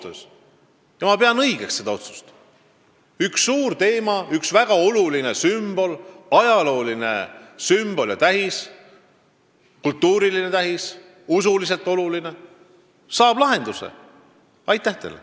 Lahenduse saab probleem, mis on puudutanud meie väga olulist ajaloolist sümbolit, ka on tegu usuliselt ja kultuuriliselt tähtsa objektiga.